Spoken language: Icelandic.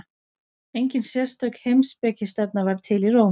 Engin sérstök heimspekistefna varð til í Róm.